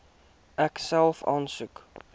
ek self aansoek